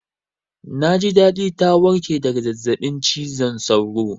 Na ji daɗi ta warƙe daga zazzaɓin cizon sauro